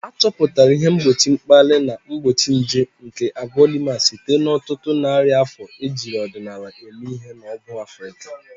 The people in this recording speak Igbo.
Achọpụtara ihe mgbochi mkpali na mgbochi nje nke Agwalumas site n'ọtụtụ narị afọ ejiri ọdịnala eme ihe na ọgwụ Africa.